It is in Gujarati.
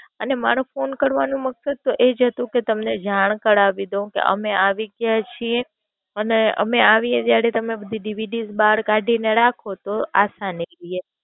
અને મારો ફોન કરવાનું મકસત તો એ જ હતું કે તમને જાણ કરાવી દઉં કે અમે આવી ગયા છીએ. અને અમે આવીએ ત્યારે તમે DVD બાર કાઢી ને રાખો તો અસાનીથઇ એમ.